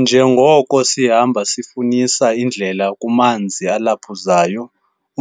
Njengoko sihamba sifunisa indlela kumanzi alephuzayo,